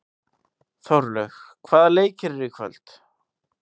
Þórlaug, hvaða leikir eru í kvöld?